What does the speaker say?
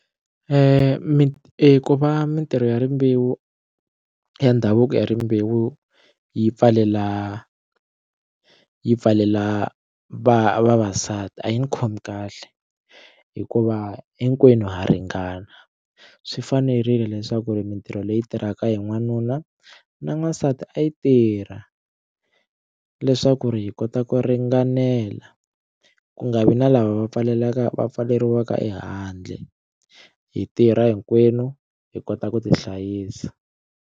mi ku va mitirho ya rimbewu ya ndhavuko ya rimbewu yi pfalela yi pfalela va vavasati a yi ni khomi kahle hikuva hinkwenu ha ringana swi fanerile leswaku ri mintirho leyi tirhaka hi n'wanuna na n'wansati a yi tirha leswaku ri hi kota ku ringanela ku nga vi na lava va pfaleleka va pfaleriwaka ehandle hi tirha hinkwenu hi kota ku tihlayisa.